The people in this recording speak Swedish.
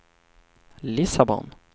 Lissabon